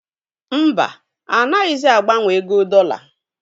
Mba, anaghịzi agbanwe ego dọla